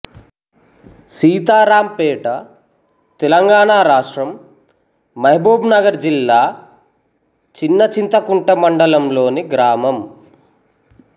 సీతారాంపేట తెలంగాణ రాష్ట్రం మహబూబ్ నగర్ జిల్లా చిన్నచింతకుంట మండలంలోని గ్రామం